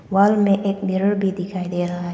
Wall में एक mirror भी दिखाई दे रहा है।